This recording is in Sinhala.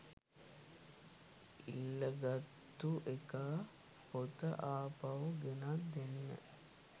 ඉල්ලගත්තු එකා පොත ආපහු ගෙනත් දෙන්න